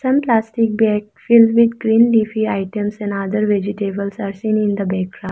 some plastic bags filled with green leafy items and other vegetables are seen in the backgra --